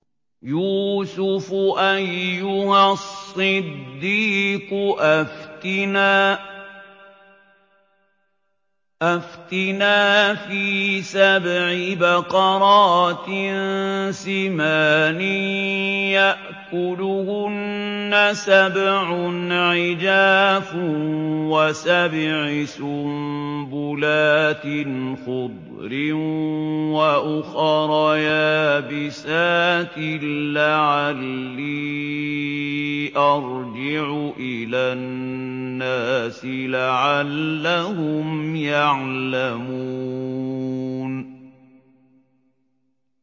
يُوسُفُ أَيُّهَا الصِّدِّيقُ أَفْتِنَا فِي سَبْعِ بَقَرَاتٍ سِمَانٍ يَأْكُلُهُنَّ سَبْعٌ عِجَافٌ وَسَبْعِ سُنبُلَاتٍ خُضْرٍ وَأُخَرَ يَابِسَاتٍ لَّعَلِّي أَرْجِعُ إِلَى النَّاسِ لَعَلَّهُمْ يَعْلَمُونَ